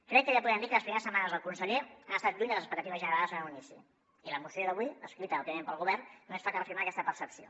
crec que ja podem dir que les primeres setmanes del conseller han estat lluny de les expectatives generades en un inici i la moció d’avui escrita òbviament pel go·vern només fa que reafirmar aquesta percepció